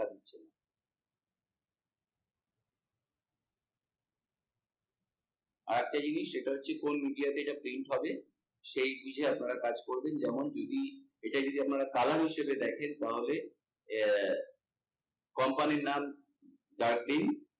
আরেকটা জিনিস কোন media তে এটা change হবে সেই বুঝে আপনারা কাজ করবেন যেমন যদি এটা যদি আপনারা colour হিসেবে দেখেন তাহলে আহ company আহ নাম